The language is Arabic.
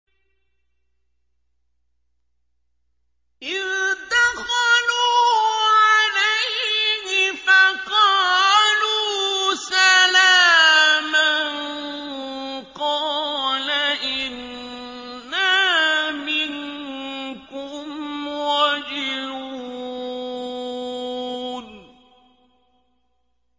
إِذْ دَخَلُوا عَلَيْهِ فَقَالُوا سَلَامًا قَالَ إِنَّا مِنكُمْ وَجِلُونَ